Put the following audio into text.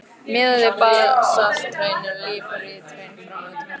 Miðað við basalthraun eru líparíthraun frá nútíma fá.